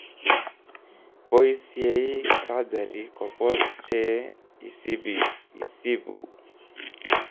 poisyei surgery kopos che isibuu